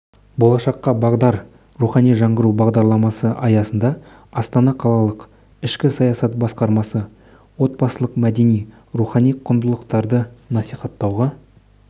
болашаққа бағдар рухани жаңғыру бағдарламасы аясында астана қалалық ішкі саясат басқармасы отбасылық мәдени рухани құндылықтарды насихаттауға